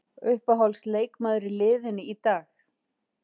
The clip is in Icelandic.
Uppáhalds leikmaður í liðinu í dag?